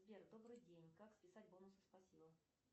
сбер добрый день как списать бонусы спасибо